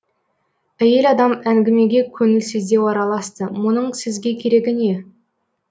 әйел адам әңгімеге көңілсіздеу араласты мұның сізге керегі не